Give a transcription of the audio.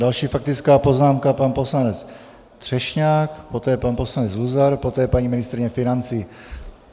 Další faktická poznámka, pan poslanec Třešňák, poté pan poslanec Luzar, poté paní ministryně financí.